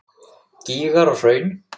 Gígar og hraun